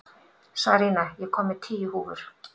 Sarína, ég kom með tíu húfur!